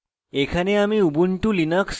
এখানে আমি